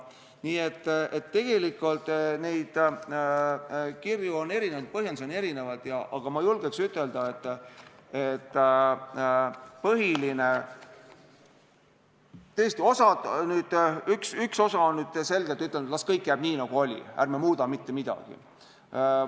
Nii et kirju on erinevaid, põhjendusi on erinevaid, aga ma julgen ütelda, et üks osa on selgelt öelnud, et las kõik jääb nii, nagu oli, ärme muudame mitte midagi.